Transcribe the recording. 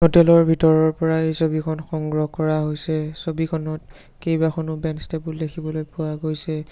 Hotel ৰ ভিতৰৰ পৰা এই ছবিখন সংগ্ৰহ কৰা হৈছে ছবিখনত কেইবাখনো বেঞ্চ টেবুল দেখিবলৈ পোৱা গৈছে।